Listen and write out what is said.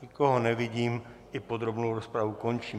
Nikoho nevidím, i podrobnou rozpravu končím.